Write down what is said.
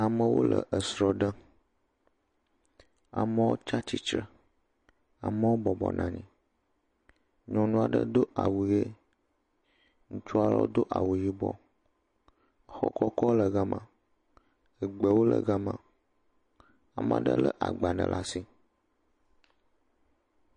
Amewo le srɔ ɖem amewo tia tiyre amewo bɔbɔ nɔ anyi nyɔnua do awu ɣi ŋutsua do awu yibɔ xɔ kɔkɔ le gama gbewo le gama ame aɖe le agba aɖe ɖe asi